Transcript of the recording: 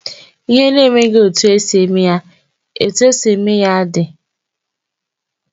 Ihe na enweghị etu esi eme ya, etu esi eme ya dị.